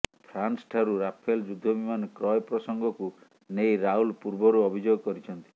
ଫାନ୍ସଠାରୁ Rafale ଯୁଦ୍ଧ ବିମାନ କ୍ରୟ ପ୍ରସଙ୍ଗକୁ ନେଇ ରାହୁଲ ପୂର୍ବରୁ ଅଭିଯୋଗ କରିଛନ୍ତି